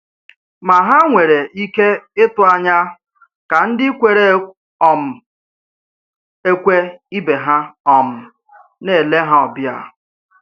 Mà hà nwere ike ịtụ̀ anya ka ndị kwèrè um ekwè ibe ha um na-èlè ha ọbìà?